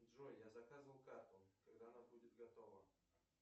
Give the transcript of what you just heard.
джой я заказывал карту когда она будет готова